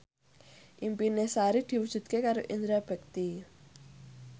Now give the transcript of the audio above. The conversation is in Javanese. impine Sari diwujudke karo Indra Bekti